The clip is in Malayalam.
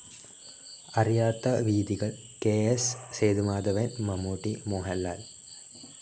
അറിയാത്ത വീഥികൾ കെ.എസ്സ്. സേതുമാധവൻ മമ്മൂട്ടി, മോഹൻലാൽ